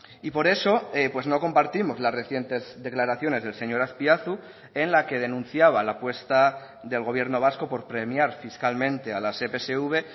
y por eso no compartimos las recientes declaraciones del señor azpiazu en la que denunciaba la apuesta del gobierno vasco por premiar fiscalmente a las epsv